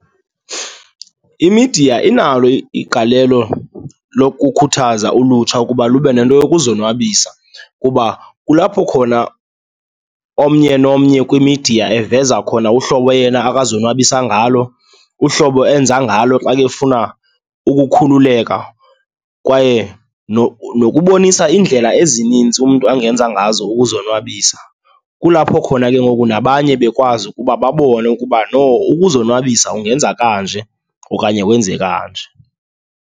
Imidiya inalo igalelo lokukhuthaza ulutsha ukuba lube nento yokuzonwabisa kuba kulapho khona omnye nomnye kwimidiya eziveza khona uhlobo yena abazonwabisa ngalo, uhlobo enza ngalo xa ke efuna ukukhululeka kwaye nokubonisa iindlela ezininzi umntu angenza ngazo ukuzonwabisa. Kulapho khona ke ngoku nabanye bekwazi ukuba babone ukuba, no, ukuzonwabisa ungenza kanje okanye wenze kanje.